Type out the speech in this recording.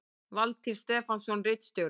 Valtýr Stefánsson ritstjóri